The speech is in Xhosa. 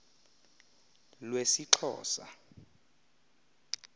lwesixhosa